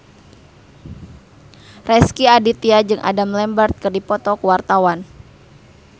Rezky Aditya jeung Adam Lambert keur dipoto ku wartawan